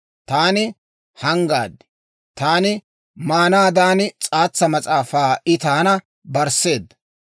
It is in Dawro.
Taani hanggaad; taani maanaadan, s'aatsa mas'aafaa I taana barsseedda.